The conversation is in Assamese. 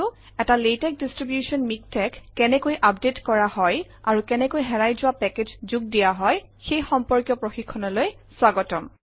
এটা লাতেশ ডিষ্ট্ৰিবিউচন মিকটেক্স কেনেকৈ আপডেট কৰা হয় আৰু কেনেকৈ হেৰাই যোৱা পেকেজ যোগ দিয়া হয় সেই সম্পৰ্কীয় প্ৰশিক্ষণলৈ স্বাগতম